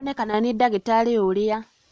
Nĩonekana nĩ ndagĩtarĩ ũũrĩa